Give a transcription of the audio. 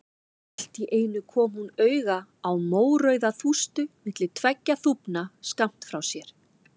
Allt í einu kom hún auga á mórauða þústu milli tveggja þúfna skammt frá sér.